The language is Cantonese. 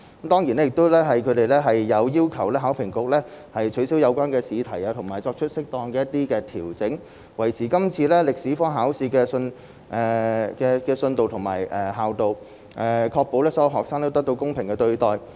當然，他們亦有要求考評局取消有關試題，以及作出一些適當調整，以維持今次歷史科考試的信度和效度，確保所有學生均獲得公平的對待。